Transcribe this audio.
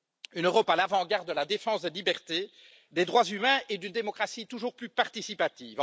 une Europe à l'avant garde de la défense des libertés des droits humains et d'une démocratie toujours plus participative.